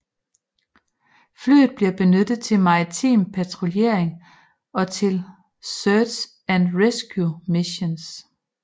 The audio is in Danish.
Flyet bliver benyttet til maritim patruljering og til search and rescue missioner